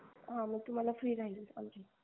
हा मग तुम्हाला free राहील आमची